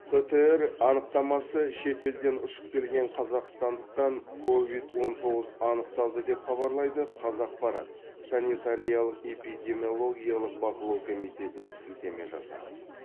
птр анықтамасы шет елден ұшып келген қазақстандықтан ковид он тоғыз анықталды деп хабарлайды қазақпарат санитариялық эпидемиологиялық бақылау комитетіне сілтеме жасап